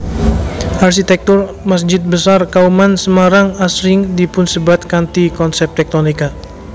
Arsitektur Masjid Besar Kauman Semarang asring dipunsebat kanthi konsep tektonika